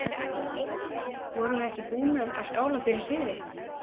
Vorum við ekki búnir að skála fyrir sigri?